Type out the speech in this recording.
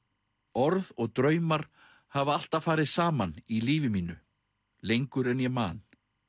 orð og draumar hafa alltaf farið saman í lífi mínu lengur en ég man